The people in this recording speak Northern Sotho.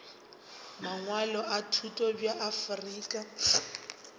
mangwalo a thuto bja afrika